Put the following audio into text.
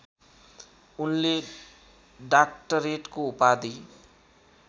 उनले डाक्टरेटको उपाधि